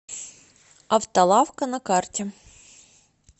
автолавка на карте